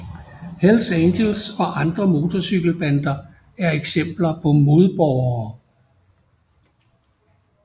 Hells Angels og andre motorcykelbander er eksempler på modborgere